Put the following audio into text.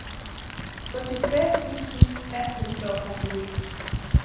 førtitre tusen ett hundre og trettini